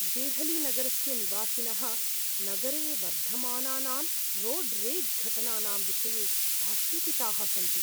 देहलीनगरस्य निवासिनः नगरे वर्धमानानां रोड् रेज् घटनानां विषये आशङ्किताः सन्ति।